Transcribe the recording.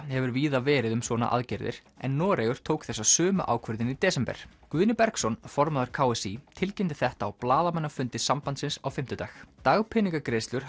hefur víða verið um svona aðgerðir en Noregur tók þessa sömu ákvörðun í desember Guðni Bergsson formaður k s í tilkynnti þetta á blaðamannafundi sambandsins á fimmtudag dagpeningagreiðslur